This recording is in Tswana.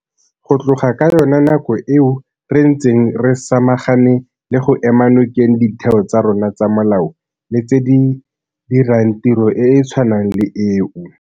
Go tloga ka yona nako eo re ntse re samagane le go ema nokeng ditheo tsa rona tsa molao le tse di dirang tiro e e tshwanang le eo.